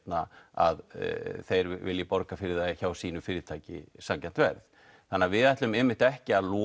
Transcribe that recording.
að þeir vilji borga fyrir það hjá sínu fyrirtæki sanngjarnt verð við ætlum einmitt ekki að loka